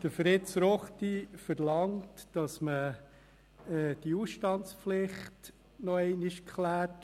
Fritz Ruchti verlangt, dass man die Ausstandspflicht noch einmal abklärt.